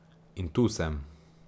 In tu sem.